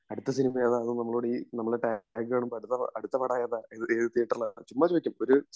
അടുത്ത സിനിമ ഏതാണെന്നു നമ്മളോടീ നമ്മൾടെ ടാഗ് കാണുമ്പോ